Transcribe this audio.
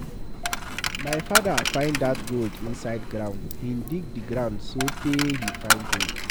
My father find dat gold inside ground. He dig the ground so tey he find gold.